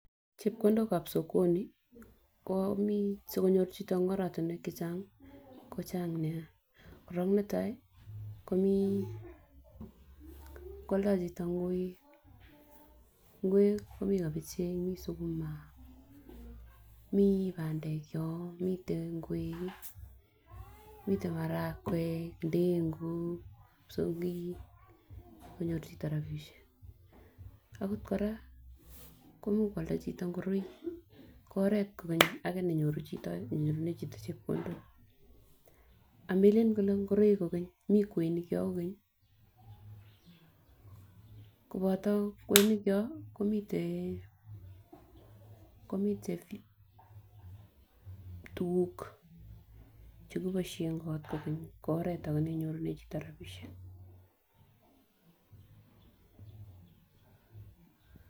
Chepkondokab sokoni komii sikonyor chito en oratumwek chechang kochang nia korong netai komiii kwoldo chito ngoi ingwek komii kabachek mii sukuma mii pandek yon miten ngwek, miten marakwek ndenguk psogik konyor chito rabishek. Akot Koraa ko imuch kwalda chito igoroik ko oret kokeny age nenyorunen chito chepkondok, amelelen kole igoroik kokeny mii kwenik yon kokeny mii kwenik yon kokeny koboto kwenik yon komiten komiten tukuk chekiboishen kot kokeny ko oret age neinyorune chito rabishek .